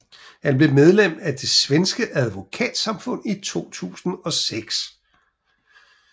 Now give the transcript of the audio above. Han blev medlem af det Svenske advokatsamfund i 2006